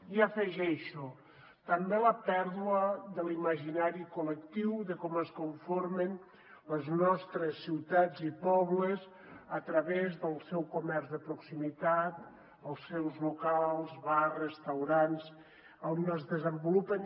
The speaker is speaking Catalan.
i afegeixo també la pèrdua de l’imaginari col·lectiu de com es conformen les nostres ciutats i pobles a través del seu comerç de proximitat els seus locals bars restaurants on es desenvolupen